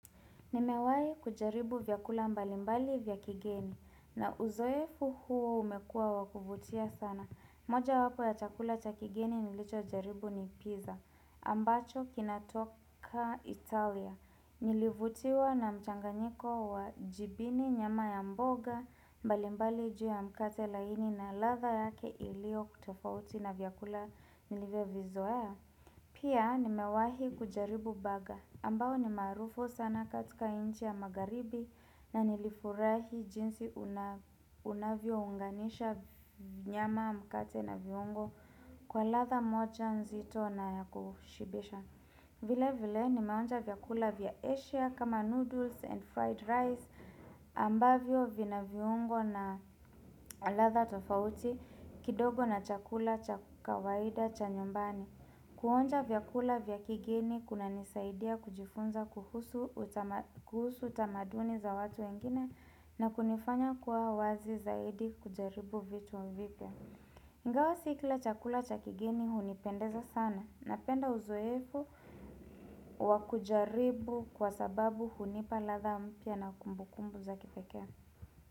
Nimewahi kujaribu vyakula mbalimbali vya kigeni na uzoefu huo umekua wakuvutia sana. Moja wapo ya chakula cha kigeni nilichojaribu ni pizza. Ambacho kinatoka Italia. Nilivutiwa na mchanganyiko wa jibini nyama ya mboga mbali mbali juu ya mkate laini na ladha yake iliyoko tofauti na vyakula nilivyo vizoea. Pia nimewahi kujaribu baga ambao ni maarufu sana katika nchi ya magaribi na nilifurahi jinsi unavyounganisha nyama mkate na viungo kwa ladha moja nzito na ya kushibisha. Vile vile nimeonja vyakula vya Asia kama noodles and fried rice ambavyo vina viungo na ladha tofauti kidogo na chakula cha kawaida cha nyumbani. Kuonja vya kula vya kigeni kunanisaidia kujifunza kuhusu utamaduni za watu wengine na kunifanya kuwa wazi zaidi kujaribu vitu vipya. Ingawa sio kila chakula cha kigeni hunipendeza sana. Napenda uzoefu wa kujaribu kwa sababu hunipa ladha mpya na kumbu kumbu za kipekee.